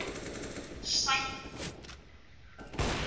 Sæmi úti að aka.